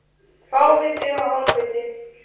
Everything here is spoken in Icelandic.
Fáviti og hálfviti